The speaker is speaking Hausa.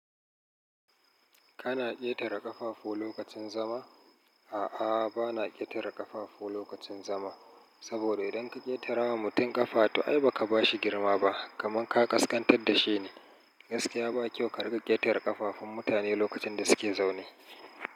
Kana ƙetare ƙafafu lokacin zama? A'a, ba na ƙetare ƙafafu lokacin zama, saboda idan ka ƙetara wa mutum ƙafa, to ai ba ka ba shi girma ba, kamar ka kaskantar da shi ne. Gaskiya ba kyau ka riƙa ƙetare ƙafafun mutane lokacin da suke zaune.